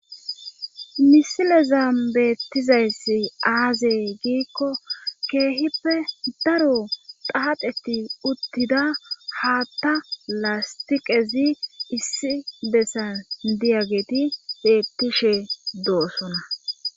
Misilezan beettizayssi aazey giikko keehippe daro paapheti uttida haatta lastiqezi issi bessan diyageti beettishe doosona.